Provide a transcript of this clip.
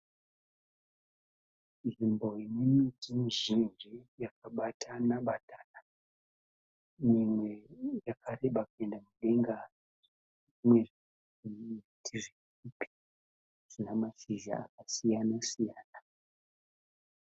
Nzvimbo ine miti mizhinji yakabatana batana. Imwe yakareba kuenda mudenga. Imwe ine mashizha akasiyana siyana.